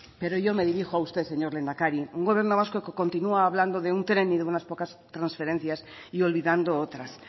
pero yo me dirijo a usted señor lehendakari un gobierno vasco que continúa hablando de un tren y de unas pocas transferencias y olvidando otras